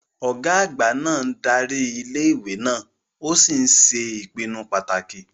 Ọ̀gá àgbà náà ń darí ilé ìwé náà ó sì ń ṣe ìpinnu pàtàkì